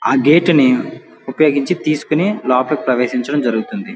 ఆ గేట్ ని ఉపయోగించి తీసుకుని లోపలికి ప్రవేశించడం జరుగుతుంది.